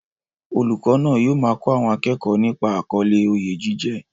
Olùkọ́ náà yóò máa kọ́ àwọn akẹ́kọ̀ọ́ nípa àkọlé "Oyè jíjẹ"